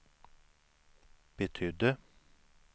betydde